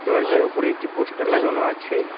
দরজার ওপরে একটি পোস্টার লাগানো আছে।